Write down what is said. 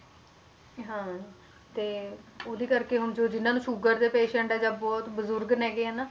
ਹਾਂ ਤੇ ਉਹਦੀ ਕਰਕੇ ਹੁਣ ਜੋ ਜਿੰਨਾਂ ਨੂੰ ਸ਼ੂਗਰ ਦੇ patient ਹੈ ਜਾਂ ਬਹੁਤ ਬਜ਼ੁਰਗ ਹੈਗੇ ਆ ਨਾ